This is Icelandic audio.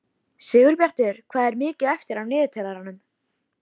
Sigurbjartur, hvað er mikið eftir af niðurteljaranum?